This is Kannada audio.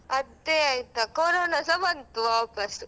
ಅದೇ ಆಯ್ತಾ ಕೊರೊನಸ ಬಂತು ವಾಪಾಸ್.